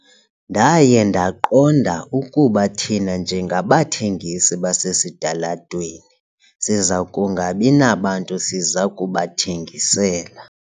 Ndaye ndaqonda ukuba thina njengabathengisi basesitalatweni siza kungabi nabantu siza kubathengisela.